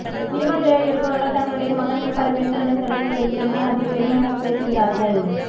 cinema துறையில் இருப்பவர்கள் தங்களுடைய மகன்கள் பல பெண்களுடன் தொடர்பு வைத்திருந்தால் அதை பெருமையாக பேசுகிறார்கள்